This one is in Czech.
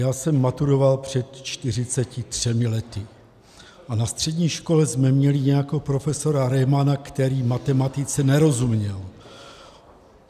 Já jsem maturoval před 43 lety a na střední škole jsme měli nějakého profesora Remana, který matematice nerozuměl.